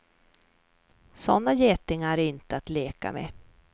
Sådana getingar är inte att leka med.